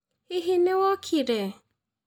Hihi nĩ wokire?